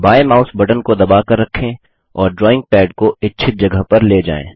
बाँयें mouse button को दबाकर रखें और ड्रॉइंग पैड को इच्छित जगह पर ले जाएँ